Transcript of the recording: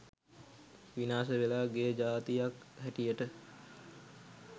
විනාශ වෙලා ගිය ජාතියක් හැටියට